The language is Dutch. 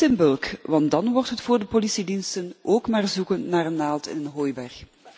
Niet in bulk, want dan wordt het voor de politiediensten ook maar zoeken naar een naald in een hooiberg.